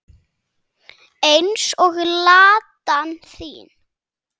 Eins og Ladan þín.